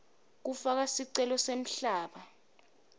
kufaka sicelo semhlaba